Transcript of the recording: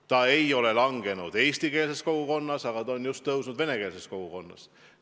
See ei ole vähenenud eestikeelses kogukonnas, aga on suurenenud just venekeelses kogukonnas.